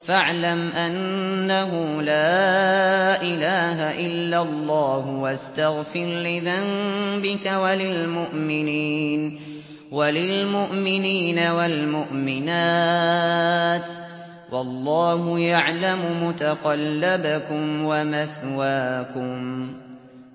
فَاعْلَمْ أَنَّهُ لَا إِلَٰهَ إِلَّا اللَّهُ وَاسْتَغْفِرْ لِذَنبِكَ وَلِلْمُؤْمِنِينَ وَالْمُؤْمِنَاتِ ۗ وَاللَّهُ يَعْلَمُ مُتَقَلَّبَكُمْ وَمَثْوَاكُمْ